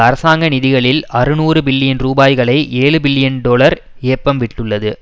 அரசாங்க நிதிகளில் அறுநூறு பில்லியன் ரூபாய்களை ஏழுபில்லியன் டொலர் ஏப்பம் விட்டுள்ளது